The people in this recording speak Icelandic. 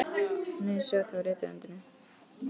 Nei, ég sá það á rithöndinni.